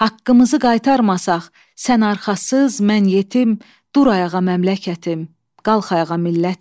Haqqımızı qaytarmasaq, sən arxasız, mən yetim, dur ayağa məmləkətim, qalx ayağa millətim.